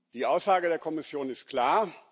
Die Aussage der Kommission ist klar.